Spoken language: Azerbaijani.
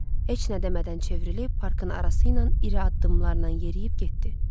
Heç nə demədən çevrilib parkın arası ilə iri addımlarla yeriyib getdi.